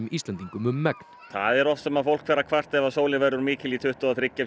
Íslendingum um megn það er oft sem fólk fer að kvarta ef sólin verður of mikil í tuttugu og þriggja